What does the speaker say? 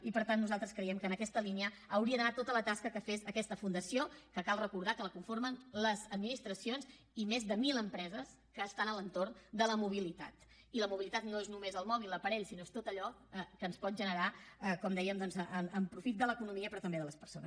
i per tant nosaltres creiem que en aquesta línia hauria d’anar tota la tasca que fes aquesta fundació que cal recordar que la conformen les administracions i més de mil empreses que estan a l’entorn de la mobilitat i la mobilitat no és només el mòbil l’aparell sinó que és tot allò que ens pot generar com dèiem en profit de l’economia però també de les persones